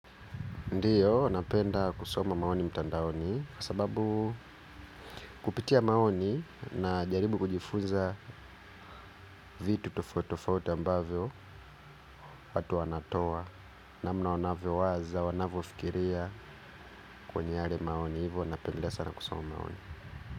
Ndiyo, napenda kusoma maoni mtandaoni kwa sababu kupitia maoni najaribu kujifunza vitu tofauti tofauti ambavyo watu wanatoa namna wanavyowaza, wanavyofikiria kwenye yale maoni. Hivyo napenda sana kusoma maoni.